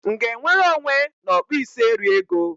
M ga-enwere onwe n'ọkpụisieriego?